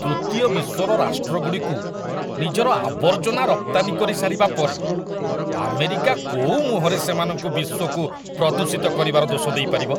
ତୃତୀୟ ବିଶ୍ୱର ରାଷ୍ଟ୍ରଗୁଡ଼ିକୁ ନିଜର ଆବର୍ଜନା ରପ୍ତାନୀ କରି ସାରିବା ପରେ ଆମେରିକା କୋଉ ମୁହଁରେ ସେମାନଙ୍କୁ ବିଶ୍ୱକୁ ପ୍ରଦୂଷିତ କରିବାର ଦୋଷ ଦେଇପାରିବ?